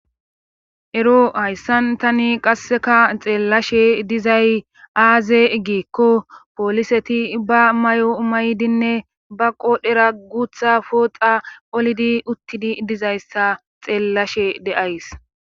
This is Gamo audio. ero hayssan tani qassika xeellashe dizay aaze giikko pooliseti ba mayo mayidinne ba qodhera guutha pooxa olidi uttidi dizayssa xeellashe de7ays.